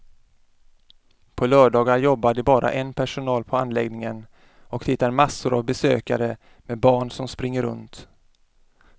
På lördagar jobbar det bara en personal på anläggningen och det är massor av besökare med barn som springer runt.